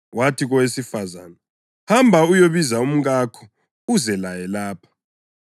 Wathi kowesifazane, “Hamba uyebiza umkakho uze laye lapha.”